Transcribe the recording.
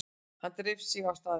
Hann dreif sig á staðinn.